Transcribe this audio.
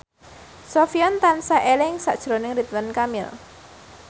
Sofyan tansah eling sakjroning Ridwan Kamil